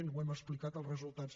els hem explicat els resultats